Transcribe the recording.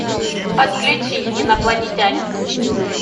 подключи инопланетянин